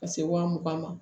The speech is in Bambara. Ka se wa mugan ma